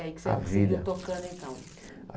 A vida. E aí que você seguiu tocando, então?